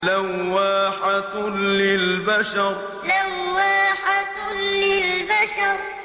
لَوَّاحَةٌ لِّلْبَشَرِ لَوَّاحَةٌ لِّلْبَشَرِ